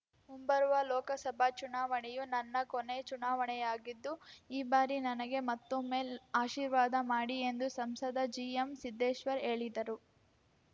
ಮುಂಬರುವ ಲೋಕಸಭಾ ಚುನಾವಣೆಯು ನನ್ನ ಕೊನೆ ಚುನಾವಣೆಯಾಗಿದ್ದು ಈ ಭಾರಿ ನನಗೆ ಮತ್ತೊಮ್ಮೆ ಆಶೀರ್ವಾದ ಮಾಡಿ ಎಂದು ಸಂಸದ ಜಿಎಂಸಿದ್ದೇಶ್ವರ್‌ ಹೇಳಿದರು